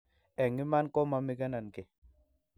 Eng' iman ko mamigenon kiy.